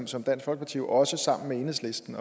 som dansk folkeparti jo også sammen med enhedslisten